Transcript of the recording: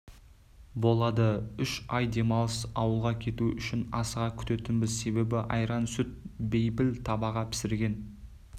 болады үш ай демалысты ауылға кету үшін асыға күтетінбіз себебі айран сүт бейпіл табаға пісірген